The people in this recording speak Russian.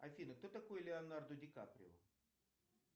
афина кто такой леонардо ди каприо